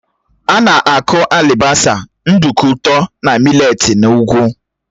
Á na-aku alibasa, nduku ụtọ na mị́letí n'ugwu